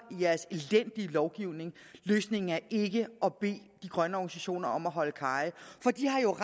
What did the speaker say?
i lovgivning løsningen er ikke at bede de grønne organisationer om at holde kaje for de har jo